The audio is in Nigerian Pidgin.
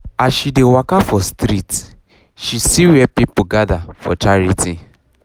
as she dey um waka um for street um she see where people gather for charity